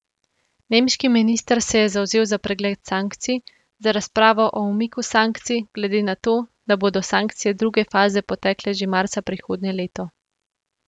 Nemški minister se je zavzel za pregled sankcij, za razpravo o umiku sankcij, glede na to, da bodo sankcije druge faze potekle že marca prihodnje leto.